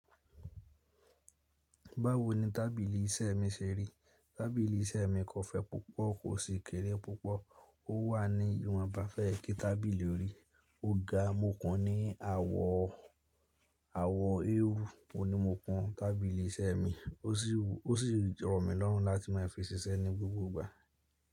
Báwo ni tábìlì iṣẹ́ mi ṣe rí? Tábìlì iṣẹ́ mi kọ̀ fẹ̀ pupọ̀, kò sì kéré pupọ̀. Ó wà ní ìwọ̀n bá fẹ́ kí tábìlì rí. Ó ga, mo kùn ní àwọ̀, àwọ̀ eérú ni mo kùn tábìlì iṣẹ́ mi. Ó sì wù, ó sì rọ̀ mi lọ́rùn láti máa fi ṣiṣẹ́ ní gbogbo ìgbà.